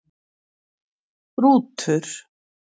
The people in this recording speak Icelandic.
Rútur